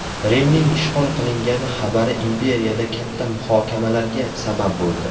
Rimning ishg‘ol qilingani xabari imperiyada katta muhokamalarga sabab bo‘ldi.